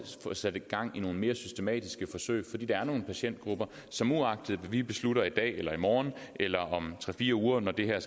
få sat gang i nogle mere systematiske forsøg der er nogle patientgrupper som uagtet hvad vi beslutter i dag eller i morgen eller om tre fire uger når det her